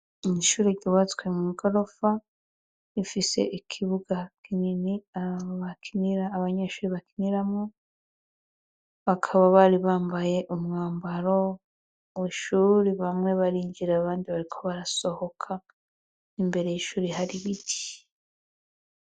Ishuri ryubatswe mw'igorofa, rifise ikibuga kinini abanyeshuri bakiniramwo, bakaba bari bambaye umwambaro w'ishuri ,bamwe barinjira abandi bariko barasohoka n'imbere y'ishuri har'ibiti.